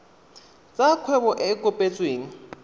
tsa kgwebo e e kopetsweng